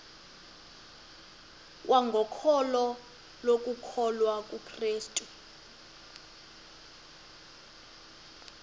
kwangokholo lokukholwa kukrestu